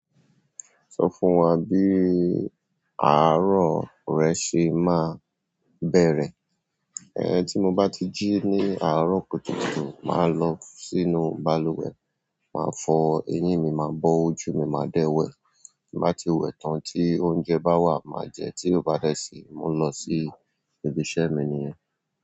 Sọ fún wá bí arọ̀ rẹ ṣe máa ń bẹ̀rẹ̀. Ehn tí mo bá ti jí ní aro kùtùkùtù, má lọ sínú balùwẹ̀ na fọ eyín mi, má fọ ojú mi má de wẹ̀. Bí mo bá ti wẹ̀ tán tí oúnjẹ bá wà, màá jẹ́, tí ó bá dẹ síi, mo ń lọ sí ibi iṣẹ́ mi nìyẹn.